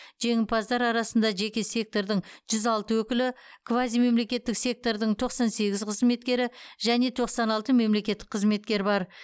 жеңімпаздар арасында жеке сектордың жүз алты өкілі квазимемлекеттік сектордың тоқсан сегіз қызметкері және тоқсан алты мемлекеттік қызметкер бар